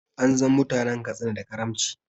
An san mutanen Katsina da kaamci